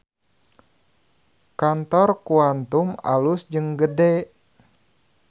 Kantor Quantum alus jeung gede